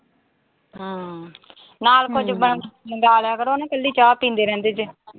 ਹਮ। ਨਾਲ ਕੁਝ ਮੰਗਾ ਲਿਆ ਕਰੋ ਨਾ, ਕੱਲੀ ਚਾਹ ਪੀਂਦੇ ਰਹਿੰਦੇ ਜੇ।